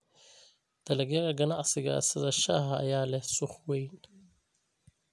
Dalagyada ganacsiga sida shaaha ayaa leh suuq weyn.